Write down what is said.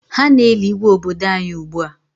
Ha na-eli Igwe obodo anyị ugbua.